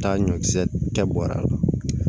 Taa ɲɔkisɛ kɛ bɔrɛ